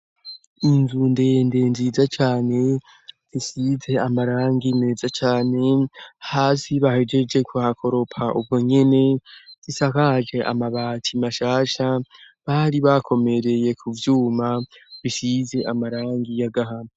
Inzundende nziza cane zisize amarangi neza cane hasi bahejeje ku hakoropa, ubu nyene zisahaje amabati mashasha bari bakomereye ku vyuma bisize amarangi y'agahamu.